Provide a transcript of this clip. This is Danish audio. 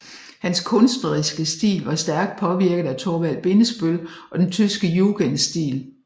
Hans kunstneriske stil var stærkt påvirket af Thorvald Bindesbøll og den tyske jugendstil